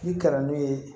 N'i kalan n'u ye